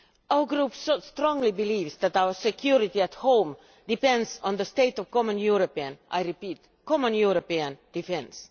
Our group strongly believes that our security at home depends on the state of common European I repeat, common European defence.